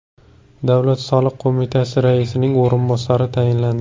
Davlat soliq qo‘mitasi raisining o‘rinbosari tayinlandi.